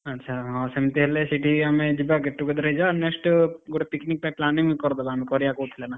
ଆଛା ହଁ ସେମିତି ହେଲେ ସେଇଠି ଆମେ ଯିବା get together ଗୋଟେ picnic ପାଇଁ planning କରଦବା। ଆମେ କରିବା କହୁଥିଲେ ନା?